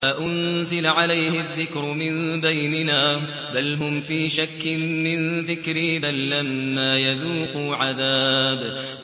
أَأُنزِلَ عَلَيْهِ الذِّكْرُ مِن بَيْنِنَا ۚ بَلْ هُمْ فِي شَكٍّ مِّن ذِكْرِي ۖ بَل لَّمَّا يَذُوقُوا عَذَابِ